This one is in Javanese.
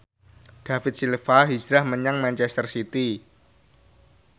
David Silva hijrah menyang manchester city